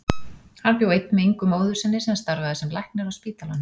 Hann bjó einn með Ingu móður sinni sem starfaði sem læknir á spítalanum.